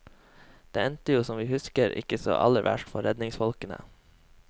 Den endte jo som vi husker ikke så aller verst for redningsfolkene.